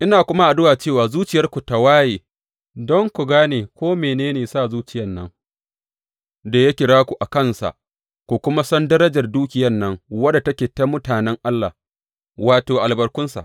Ina kuma addu’a cewa zuciyarku tă waye don ku gane ko mene ne sa zuciyan nan da ya kira ku a kansa, ku kuma san darajar dukiyan nan wadda take ta mutanen Allah, wato, albarkunsa.